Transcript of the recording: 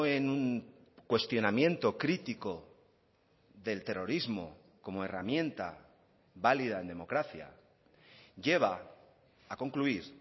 en cuestionamiento crítico del terrorismo como herramienta válida en democracia lleva a concluir